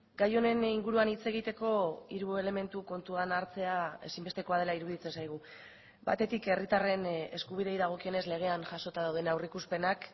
gai honen inguruan hitz egiteko hiru elementu kontuan hartzea ezinbestekoa dela iruditzen zaigu batetik herritarren eskubideei dagokionez legean jasota dauden aurreikuspenak